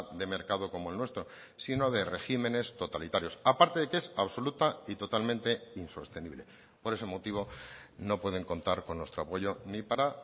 de mercado como el nuestro sino de regímenes totalitarios aparte de que es absoluta y totalmente insostenible por ese motivo no pueden contar con nuestro apoyo ni para